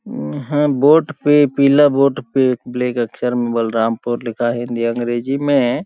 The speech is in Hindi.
अम्म हा बोर्ड पे पीला बोर्ड पे ब्लैक में अक्षर बलरामपुर लिखा है हिन्दी -अंग्रेजी में --